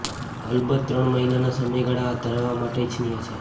અલબત્ત ત્રણ મહિનાના સમયગાળા હાથ ધરવા માટે ઇચ્છનીય છે